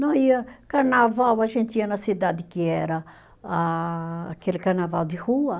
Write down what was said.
Não ia carnaval, a gente ia na cidade que era a aquele carnaval de rua.